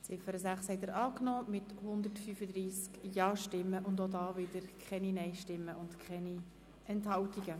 Sie haben die Ziffer 6 angenommen mit 135 Ja-, ohne Nein-Stimmen und Enthaltungen.